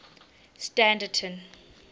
standerton